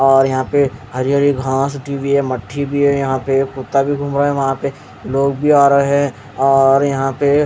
और यहाँ पे हरी हरी घास उगी हुयी है और मट्टी भी यहाँ पे एक कुत्ता भी घूम रहा है वह पे लोग भी आ रहे है और यहाँ पे --